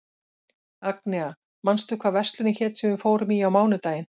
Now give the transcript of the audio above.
Agnea, manstu hvað verslunin hét sem við fórum í á mánudaginn?